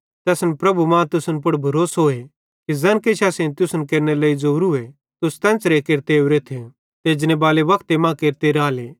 ते असन प्रभु मां तुसन पुड़ भरोसोए कि ज़ैन किछ असेईं तुसन केरनेरे लेइ ज़ोरूए तुस तेन्च़रे केरते ओरेथ ते एजनेबाले वक्ते मां केरते राले